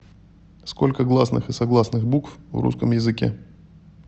сколько гласных и согласных букв в русском языке